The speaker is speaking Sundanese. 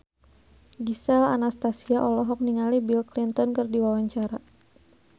Gisel Anastasia olohok ningali Bill Clinton keur diwawancara